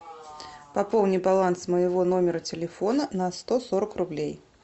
пополни баланс моего номера телефона на сто сорок рублей